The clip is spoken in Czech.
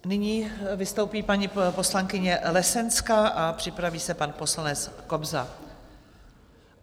Nyní vystoupí paní poslankyně Lesenská a připraví se pan poslanec Kobza.